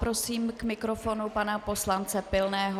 Prosím k mikrofonu pana poslance Pilného.